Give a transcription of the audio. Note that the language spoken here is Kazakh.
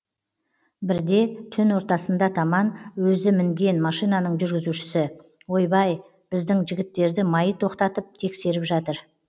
бірде түн ортасында таман өзі мінген машинаның жүргізушісі ойбай біздің жігіттерді маи тоқтатып тексеріп жатыр